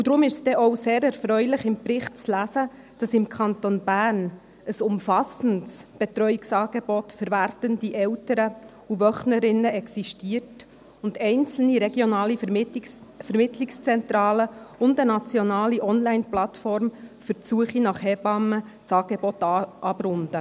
Deshalb ist es denn auch sehr erfreulich, im Bericht zu lesen, dass im Kanton Bern ein umfassendes Betreuungsangebot für werdende Eltern und Wöchnerinnen existiert und einzelne regionale Vermittlungszentralen und eine nationale Onlineplattform für die Suche nach Hebammen das Angebot abrunden.